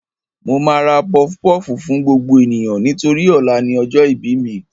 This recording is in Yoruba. Mo máa ra pọfupọ́ọ̀fù fún gbogbo ènìyàn nítorí ọ̀la ni ọjọ́ ìbí mi